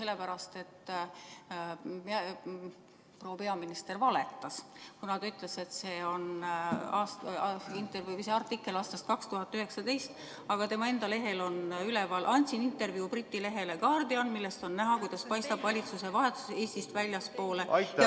Proua peaminister valetas, kuna ta ütles, et see artikkel on aastast 2019, aga tema enda lehel on üleval: "Andsin intervjuu briti lehele Guardian, millest on näha, kuidas paistab valitsusevahetus Eestist väljapoole.